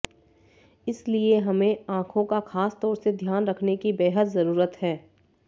इसलिए हमें आंखों का खास तौर से ध्यान रखने की बेहद जरुरत है